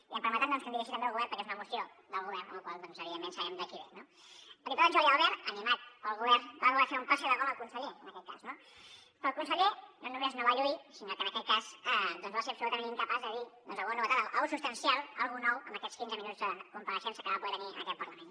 i em permetran doncs que em diri·geixi també al govern perquè és una moció del govern amb la qual cosa evident·ment sabem de qui ve no el diputat jordi albert animat pel govern va voler fer un passi de gol al conse·ller en aquest cas no però el conseller no només no va lluir sinó que en aquest cas doncs va ser absolutament incapaç de dir alguna novetat alguna cosa substancial alguna cosa nova en aquells quinze minuts de compareixença que va poder tenir en aquest parlament